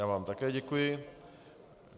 Já vám také děkuji.